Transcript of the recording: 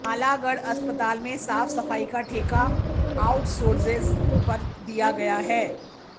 नालागढ़ अस्पताल में साफ सफाई का ठेका आउटसोर्सेज पर दिया गया है